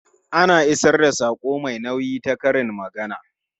Ana isar da saƙo mai nauyi ta karin magana.